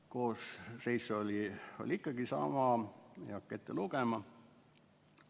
Koosseis oli ikkagi saama, ma ei hakka seda ette lugema.